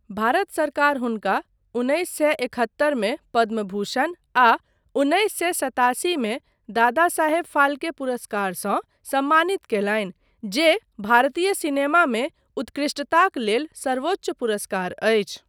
भारत सरकार हुनका उन्नैस सए एकहत्तरमे पद्मभूषण आ उन्नैस सए सतासीमे दादासाहेब फाल्के पुरस्कारसँ सम्मानित कयलनि जे भारतीय सिनेमामे उत्कृष्टताक लेल सर्वोच्च पुरस्कार अछि।